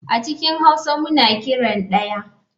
A cikin hauwa muna kiran daya (daya)